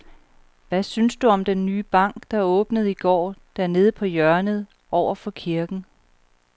Hvad synes du om den nye bank, der åbnede i går dernede på hjørnet over for kirken?